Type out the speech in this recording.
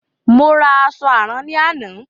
Mo ra àṣọ àrán ní àná.